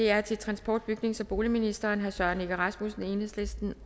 er til transport bygnings og boligministeren af herre søren egge rasmussen enhedslisten